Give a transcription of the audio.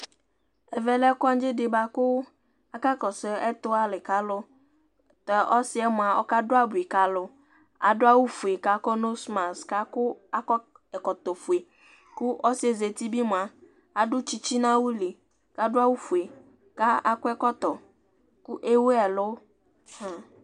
Ɛvɛ lɛ kɔŋdzɩ di bʋakʋ aka kɔsʋ ɛtʋɣa li ka alu Tu ɔsɩ yɛ mua, ɔkadu abui ka alu Adu awufue, kʋ akɔ nozimasiki, kʋ akɔ ɛkɔtɔfue Kʋ ɔsɩ yɛ zǝti bɩ mua, adu tsɩtsɩ nʋ awu li, kʋ adu awufue, kʋ akɔ ɛkɔtɔ, kʋ ewu ɛlʋ